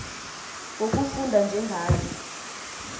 ngokufunda nje ngayo